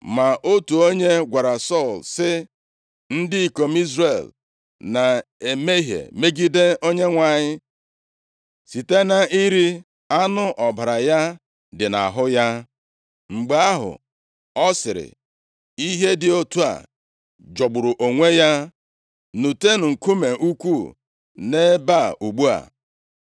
Ma otu onye gwara Sọl sị, “Ndị ikom Izrel na-emehie megide Onyenwe anyị site na iri anụ ọbara ya dị nʼahụ ya.” Mgbe ahụ, ọ sịrị, “Ihe dị otu a jọgburu onwe ya. Nutenụ nkume ukwuu nʼebe a ugbu a.”